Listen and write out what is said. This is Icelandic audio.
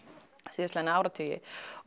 síðastliðna áratugi